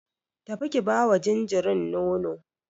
Tafi ki bawa jinjirin nono.